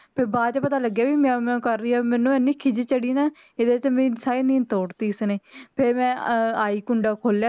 ਤੇ ਬਾਅਦ ਚ ਪਤਾ ਲਗਿਆ ਕਿ ਇਹ ਮਿਆਉਂ ਮਿਆਉਂ ਕਰ ਰਹੀ ਆ ਔਰ ਮੈਂਨੂੰ ਐਨੀ ਖਿੱਜ ਚੜੀ ਨਾ ਕਿ ਮੇਰੀ ਸਾਰੀ ਨੀਂਦ ਤੋੜ ਤੀ ਇਸ ਨੇ ਫੇਰ ਮੈਂ ਆਈ ਕੁੰਡਾ ਖੋਲਿਆ